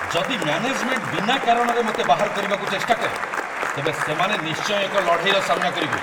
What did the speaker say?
ଯଦି ମ୍ୟାନେଜମେଣ୍ଟ ବିନା କାରଣରେ ମୋତେ ବାହାର କରିବାକୁ ଚେଷ୍ଟା କରେ, ତେବେ ସେମାନେ ନିଶ୍ଚୟ ଏକ ଲଢ଼େଇର ସାମ୍ନା କରିବେ।